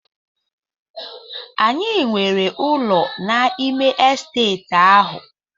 Anyị nwere ụlọ n'ime Estate ahụ.